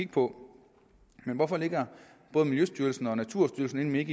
på men hvorfor ligger både miljøstyrelsen og naturstyrelsen inde